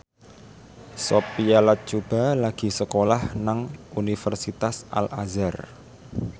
Sophia Latjuba lagi sekolah nang Universitas Al Azhar